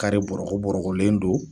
bɔrɔkɔbɔrɔkɔlen don.